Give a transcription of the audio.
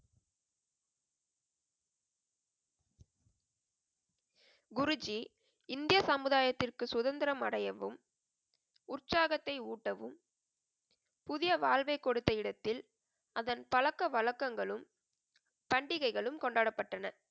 குருஜி, இந்திய சமுதாயத்திற்கு சுதந்திரம் அடையவும், உற்சாகத்தை ஊட்டவும், புதிய வாழ்வை கொடுத்த இடத்தில் அதன் பழக்க வழக்கங்களும், பண்டிகைகளும் கொண்டாடப்பட்டன.